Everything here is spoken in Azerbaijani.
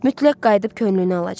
Mütləq qayıdıb könlünü alacaq.